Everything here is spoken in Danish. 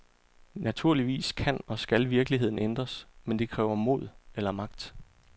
Naturligvis kan og skal virkeligheden ændres, men det kræver mod eller magt.